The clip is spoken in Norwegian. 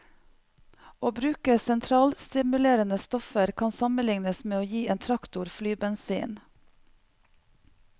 Å bruke sentralstimulerende stoffer kan sammenlignes med å gi en traktor flybensin.